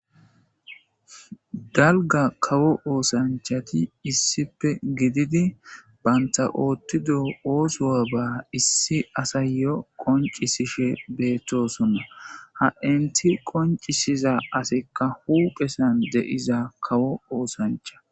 Dalga kawo oosanchati issipe gididi baynta oottido oosoa ba issi asayyo qoncisishe beettosonna ha inti qoncisiza asikka huuqesan de7iza kawo oosancha